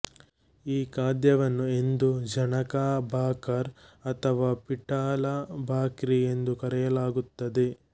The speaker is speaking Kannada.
ಈ ಖಾದ್ಯವನ್ನು ಎಂದೂ ಝುಣಕಾ ಭಾಕರ್ ಅಥವಾ ಪಿಠಲಾ ಭಾಕ್ರಿ ಎಂದೂ ಕರೆಯಲಾಗುತ್ತದೆ